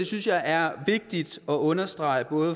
synes jeg er vigtigt at understrege både